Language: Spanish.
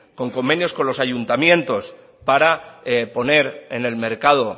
con convenios con los ayuntamientos para poner en el mercado